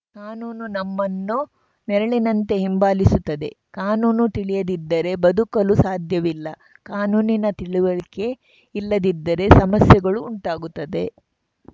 ಕಾನೂನು ನಮ್ಮನ್ನು ನೆರಳಿನಂತೆ ಹಿಂಬಾಲಿಸುತ್ತದೆ ಕಾನೂನು ತಿಳಿಯದಿದ್ದರೆ ಬದುಕಲು ಸಾಧ್ಯವಿಲ್ಲ ಕಾನೂನಿನ ತಿಳುವಳಿಕೆ ಇಲ್ಲದಿದ್ದರೆ ಸಮಸ್ಯೆಗಳು ಉಂಟಾಗುತ್ತದೆ